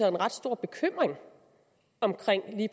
en ret stor bekymring